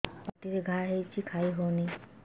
ପାଟିରେ ଘା ହେଇଛି ଖାଇ ହଉନି